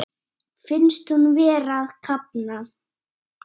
Finnst hún vera að kafna.